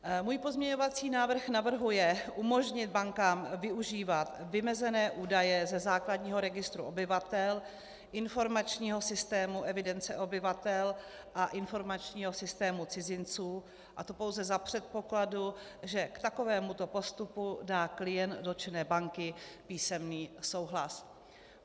Můj pozměňovací návrh navrhuje umožnit bankám využívat vymezené údaje ze základního registru obyvatel, informačního systému evidence obyvatel a informačního systému cizinců, a to pouze za předpokladu, že k takovémuto postupu dá klient dotčené banky písemný souhlas.